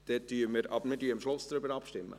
Dann werden wir am Schluss darüber abstimmen.